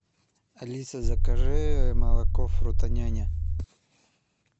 алиса закажи молоко фруто няня